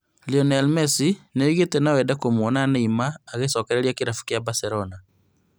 Lionel Messi nĩoigĩte noende kũmuona Neymar agĩcokereria kĩrabu gĩa Barcelona